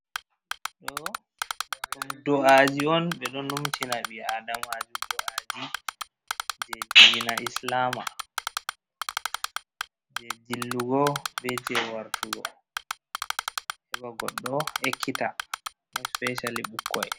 Ɗo do’aji on ɓe ɗon numtina ɓi adamaju do’aji je dina islama, je dillugo be je wartugo, heba godɗo ekkita mo espeshali bukkoi.